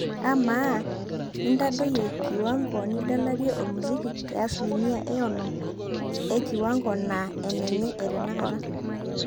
amaa intadoi kiwango nidalarie olmusiki te asilimia ee onom ee kiwango naa enenye ee tanakata